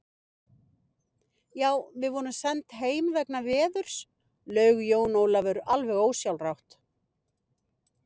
Já, við vorum send heim vegna veðurs, laug Jón Ólafur alveg ósjálfrátt.